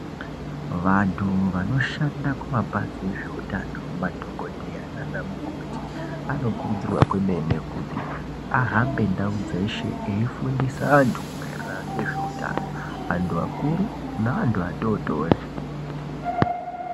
Vantu vanoshanda kumapazi ezveutano madhokodheya nana mukoti anokurudzirwa kwemene kuti ahambe ndau dzeshe eifundisa antu maererano ngezveutano antu akuru neantu atotori.